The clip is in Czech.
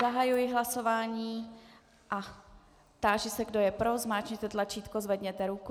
Zahajuji hlasování a táži se, kdo je pro, zmáčkněte tlačítko, zvedněte ruku.